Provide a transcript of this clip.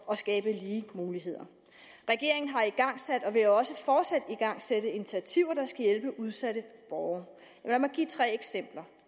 og skabe lige muligheder regeringen har igangsat og vil også fortsat igangsætte initiativer der skal hjælpe udsatte borgere lad mig give tre eksempler